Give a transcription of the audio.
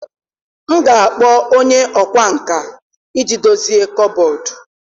M ga-akpọ onye ọkwá nkà iji dozie kọbọd.